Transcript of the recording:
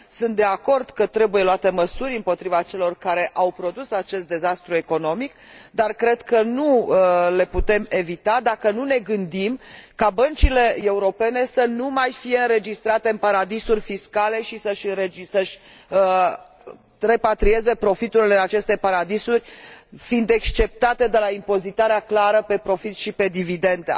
Sunt de acord că trebuie luate măsuri împotriva celor care au produs acest dezastru economic, dar cred că nu le putem lua dacă nu ne gândim ca băncile europene să nu mai fie înregistrate în paradisuri fiscale și să și repatrieze profiturile în aceste paradisuri, fiind exceptate de la impozitarea clară pe profit și pe dividende.